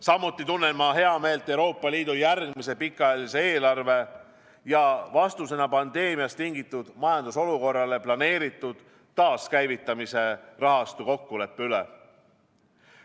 Samuti tunneme heameelt Euroopa Liidu järgmise pikaajalise eelarve ja vastusena pandeemiast tingitud majandusolukorrale planeeritud taaskäivitamise rahastu kokkuleppe üle.